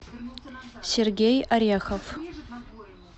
сергей орехов